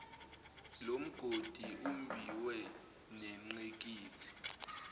lomgodi ombiwe nengqikithi